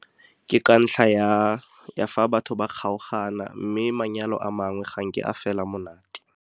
Ke ka ntlha ya fa batho ba kgaogana, mme manyalo a mangwe ga nke a fela monate.